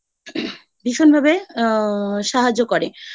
ভীষণভাবে আ সাহায্য করে। তো দেখা